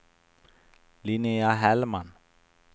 Linnea Hellman